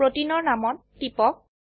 প্ৰোটিনৰ নামতটিপক